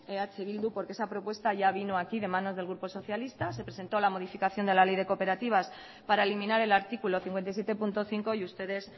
eh bildu porque esa propuesta ya vino aquí de manos del grupo socialista se presentó la modificación de la ley de cooperativas para eliminar el artículo cincuenta y siete punto cinco y ustedes